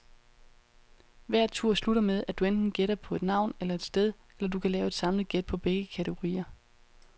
Hver tur slutter med, at du enten gætter på et navn eller et sted, eller du kan lave et samlet gæt på begge kategorier.